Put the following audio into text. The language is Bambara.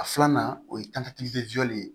A filanan o ye ye